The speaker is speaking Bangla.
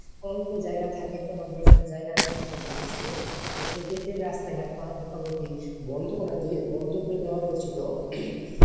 অল্প জায়গা থাকে তো আমাদের এখানে জায়গার problem ছিল তো সেক্ষেত্রে রাস্তা ঘাট মোটামুটি বন্ধ করা দিয়ে বন্ধ করে দেয়া হয়েছিল।